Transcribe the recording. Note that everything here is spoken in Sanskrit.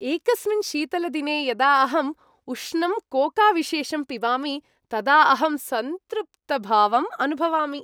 एकस्मिन् शीतलदिने यदा अहम् उष्णं कोकाविशेषं पिबामि तदा अहम् सन्तृप्तभावम् अनुभवामि।